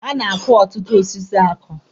A na-akụ ọtụtụ osisi akụ.